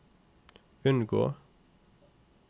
unngå